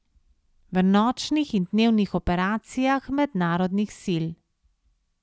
V nočnih in dnevnih operacijah mednarodnih sil.